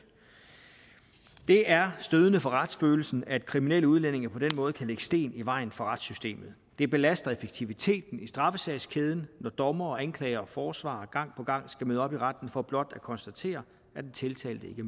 det er stødende for retsfølelsen at kriminelle udlændinge på den måde kan lægge sten i vejen for retssystemet det belaster effektiviteten i straffesagskæden når dommer anklager og forsvarer gang på gang skal møde op i retten for blot at konstatere at den tiltalte ikke